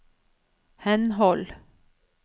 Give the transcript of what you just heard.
henhold